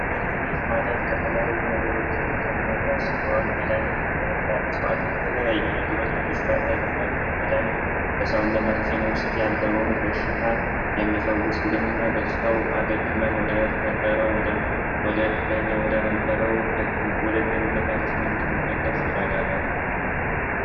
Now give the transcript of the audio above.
መድሀኒት ማለት ከተለያዩ ነገሮች የተቀመመ ሲሆን መድሀኒት ከእፅዋት ከተለያዩ ነገሮችን ሊሰራ ይችላል። መድሀኒት በሰውነታችን ውስጥ ያለውን በሽታ የሚፈውስልን እና በሽታው አገግሞ ወደየትኛው ወደነበረው ወደ ጤንነታችን እንድንመለስ ይረዳናል።